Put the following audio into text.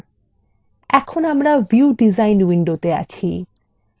এখন আমরা view design window আছি